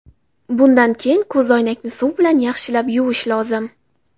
Bundan keyin ko‘zoynakni suv bilan yaxshilab yuvish lozim.